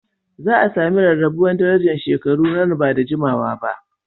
Za a sami rarrabuwar darajar shekaru nan ba da jimawa ba